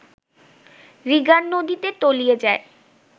রিগান নদীতে তলিয়ে যায়